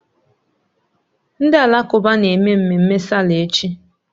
Ndị Alakụba na-eme mmemme sáálà echi